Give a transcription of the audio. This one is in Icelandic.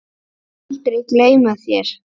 Við munum aldrei gleyma þér.